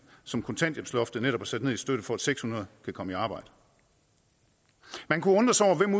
som kontanthjælpsloftet netop har sat ned i støtte for at seks hundrede kan komme i arbejde man kunne undre sig over hvem